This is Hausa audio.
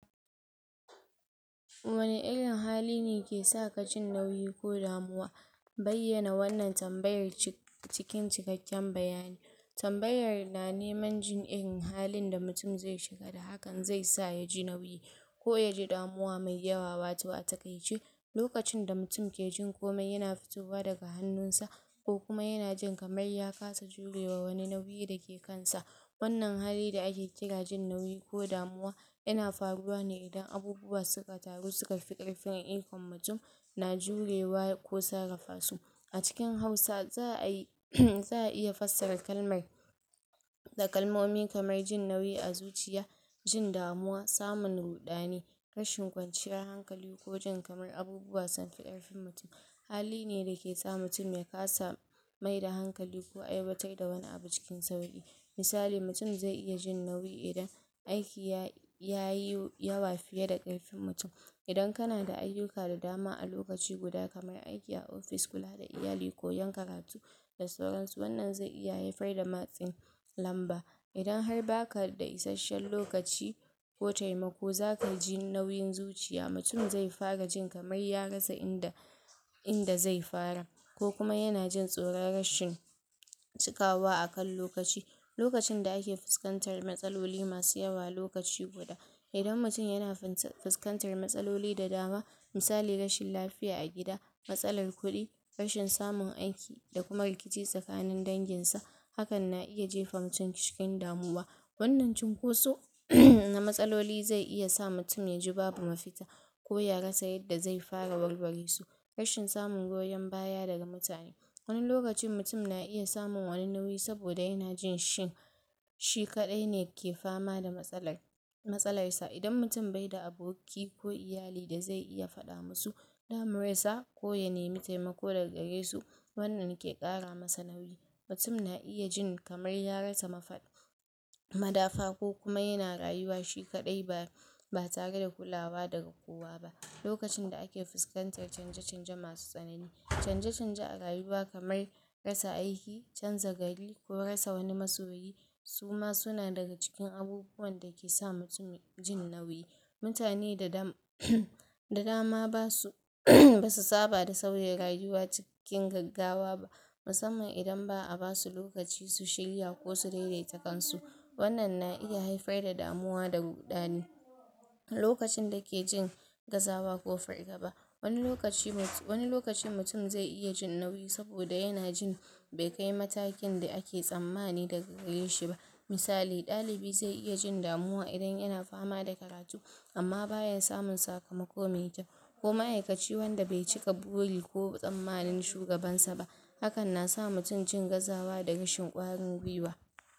Wani irin hali ne ke saka jin nauyi ko damuwa? Bayyana wannan tambaya ce cikin cikakken bayanai. Tambayar na neman jin irin halin da mutum zai shiga da hakan zai sa ya ji nauyi, ko ya ji damuwa mai yawa, wato a takaice lokacin da mutum ke jin komai yana fitowa daga hannun sa sa ko kuma yana jin kamar ya kada jurewa wani nauyi dake kansa. Wannan halin da ake kira jin nauyi ko damuwa, yana faruwa ne idan abubuwa suka taru suka fi karfin ikon mutum na jurewa ko sarrafa su. A cikin hausa za'a iya fassara kalmar da kalmomi kamar jin nauyi a zuciya, jin damuwa, samun ruɗani, rashin kwanciyar hankali ko jin kamar abubuwa sun fi karfin mutum, hali ne dake sa mutum ya kasa maida hankali ko aiwatar da wani abu cikin sauki. Misali, mutum zai iya jin nauyi idan aiki ya yi yawa fiye da karfin mutum. Idan kana da ayyuka da dama a lokaci guda kamar aiki a ofishi, kula da iyali ko koyan karatu wannan zai iya haifar da matsin lamba idan har baka da isashen lokaci ko taimako zaka ji nauyin zuciya, mutum zai far jin kamar ya rasa inda inda zai fara, ko kuma yana jin tsoron rashin cikawa akan lokaci. Lokacin da ake fuskantar matsaloli masu yawa lokaci guda, idan mutum yana fuskantar matsaloli da dama, misali, rashin lafiya a gida, matsalar kudi,, rashin samun aiki da kuma rikici tsakanin dangin sa, hakan na ita jefa mutum cikin damuwa. Wannan cinkoso na matsaloli zai iya sa mutum ya ji babu mafita, ko ya rasa yadda zai fara warware su. Rashin samun goyon baya daga mutane, wani lokaci mutum na iya samu wani nauyi saboda yana jin shin shi kadai ne ke fama da matsalar matsalar sa, idan mutum bai da aboki ko iyali da zai iya fada masu damuwar sa ko ya nemi taimako daga garesu, wannan ke kara masa nauyi, mutum na iya jin kamar ya rasa madafa ko kuma yana rayuwa shi kadai ba ba tare da kulawa daga kowa. Lokacin da ake fuskantar canje canje masu tsanani. Canje canje a rayuwa kamar rasa aiki, canza gari ko rasa wani masoyi duma fa suna daga cikin abubuwan dake sa mutum ya ji nauyi. Mutane da dama ba su ba su saɓa da sauye rayuwa cikin gaggawa ba, musamman idan ba a basu lokaci su shirya ko su daidaita kan su ba. Wannan na iya haifar da damuwa da ruɗani. Lokacin da ke jin gazawa ko fargaba. Wani lokacin mutum zai iya jin nauyi saboda yana jin bai kayi matakin da ake tsammanin daga gareshi ba. Misali, ɗalibi zai iya jin damuwa idan yana fama da karatu amma baya samun sakamako mai kyau, ko ma'aikaci wanda bai cika buri ko tsammanin shugaban sa ba, hakan na sa mutum jin gazawa da kwarin gwiwa.